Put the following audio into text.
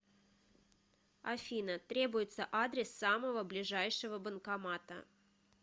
афина требуется адрес самого ближайшего банкомата